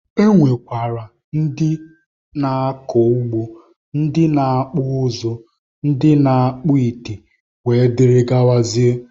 E nwekwara ndị na-akọ ugbo, ndị na-akpụ ụzụ, ndị na-akpụ ite wdg.